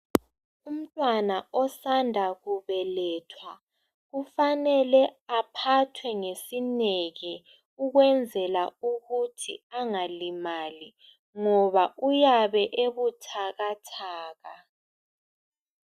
Umntwana osanda kubelethwa kufanele aohathwe ngesineke ukwenzela ukuthi angalimali ngoba uyabe ebuthakathaka.